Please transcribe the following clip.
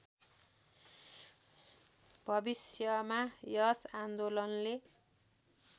भविष्यमा यस आन्दोलनले